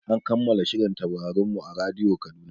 An kammala shirin Taurarin mu a radiyo Kaduna.